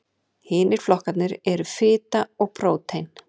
hinir flokkarnir eru fita og prótín